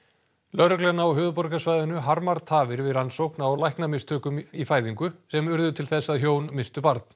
lögreglan á höfuðborgarsvæðinu harmar tafir við rannsókn á læknamistökum í fæðingu sem urðu til þess að hjón misstu barn